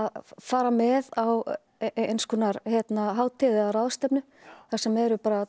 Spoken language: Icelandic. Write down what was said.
fara með á eins konar hátíð eða ráðstefnu þar sem eru